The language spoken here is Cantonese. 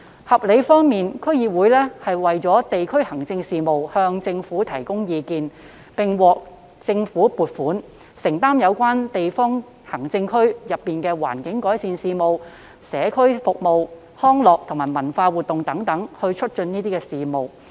合理方面，區議會就地區行政事務向政府提供意見，並獲政府撥款，承擔有關區內促進環境改善、社區服務和康樂及文化活動等事務。